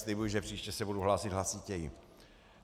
Slibuji, že příště se budu hlásit hlasitěji.